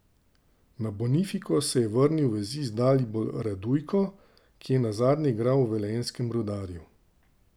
Na Bonifiko se je vrnil vezist Dalibor Radujko, ki je nazadnje igral v velenjskem Rudarju.